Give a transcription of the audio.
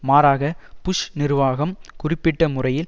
மாறாக புஷ் நிர்வாகம் குறிப்பிட்ட முறையில்